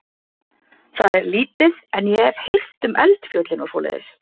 Það er lítið, en ég hef heyrt um eldfjöllin og svoleiðis.